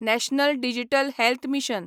national digital health mission